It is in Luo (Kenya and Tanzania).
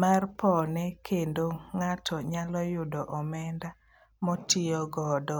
mar pone kendo ng'ato nyalo yudo omenda motiyo godo.